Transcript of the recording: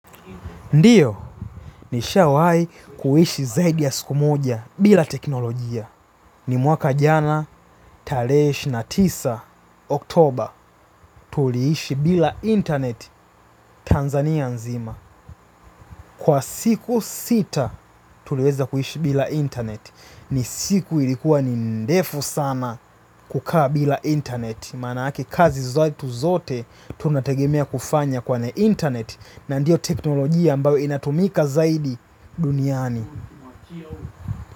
Ndio ni shawai kuishi zaidi ya siku moja bila teknolojia ni mwaka jana tarehe ishirini na tisa oktober tuliishi bila internet Tanzania nzima kwa siku sita tuliweza kuishi bila internet ni siku ilikuwa ni ndefu sana kukaa bila internet. Maana ake kazi zetu zote tunategemea kufanya kwenye internet na ndio teknolojia ambayo inatumika zaidi duniani.